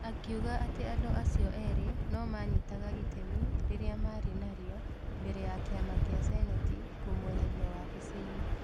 Akiuga atĩ andũ acio ĩrĩ no manyitaga itemi rĩrĩa marĩ narĩo, mbere ya kĩama kĩa Seneti kũmũeheria wabici-inĩ.